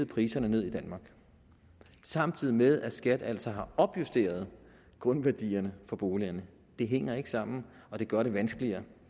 priserne ned i danmark samtidig med at skat altså har opjusteret grundværdierne for boligerne det hænger ikke sammen og det gør det vanskeligere